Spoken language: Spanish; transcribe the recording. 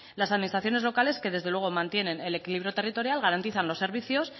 las administraciones locales que desde luego mantienen el equilibrio territorial garantizan los servicios